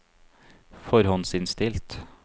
forhåndsinnstilt